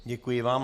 Děkuji vám.